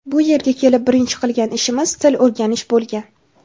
Bu yerga kelib birinchi qilgan ishimiz til o‘rganish bo‘lgan.